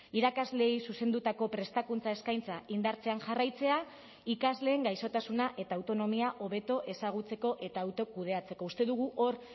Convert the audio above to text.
irakasleei zuzendutako prestakuntza eskaintza indartzen jarraitzea ikasleen gaixotasuna eta autonomia hobeto ezagutzeko eta autokudeatzeko uste dugu hor